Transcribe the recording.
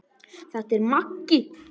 Þetta er Maggi!